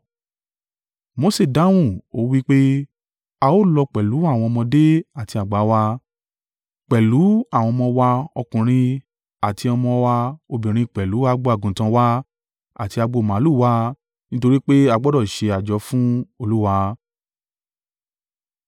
Mose dáhùn ó wí pé, “A ó lọ pẹ̀lú àwọn ọmọdé àti àgbà wa, pẹ̀lú àwọn ọmọ wa ọkùnrin àti ọmọ wa obìnrin pẹ̀lú agbo àgùntàn wa àti agbo màlúù wa nítorí pé a gbọdọ̀ ṣe àjọ fún Olúwa.”